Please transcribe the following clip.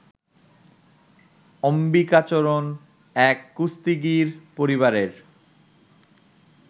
অম্বিকাচরণ এক কুস্তিগীর পরিবারের